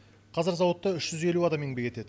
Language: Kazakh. қазір зауытта үш жүз елу адам еңбек етеді